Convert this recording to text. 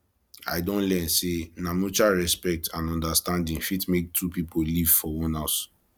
i don learn sey na mutual respect and understanding fit make two pipo live for one house